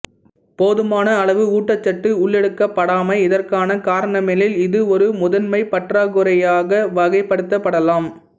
போதுமான அளவு ஊட்டச்சத்து உள்ளெடுக்கப்படாமை இதற்கான காரணமெனில் இது ஒரு முதன்மைப் பற்றாக்குறையாக வகைப்படுத்தப்படலாம்